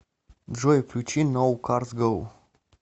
джой включи ноу карс гоу